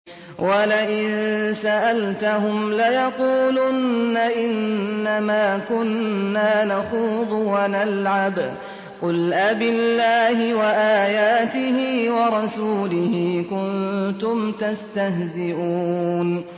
وَلَئِن سَأَلْتَهُمْ لَيَقُولُنَّ إِنَّمَا كُنَّا نَخُوضُ وَنَلْعَبُ ۚ قُلْ أَبِاللَّهِ وَآيَاتِهِ وَرَسُولِهِ كُنتُمْ تَسْتَهْزِئُونَ